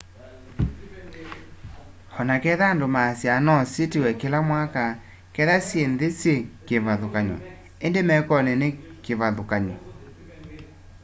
o na ketha andu maasyaa no sitiwe kila mwaka ketha syi nthi syi kivathukany'o indi mekoni ni kuvathukanyo